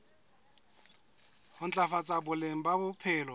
ho ntlafatsa boleng ba bophelo